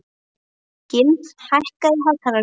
Gylfi, hækkaðu í hátalaranum.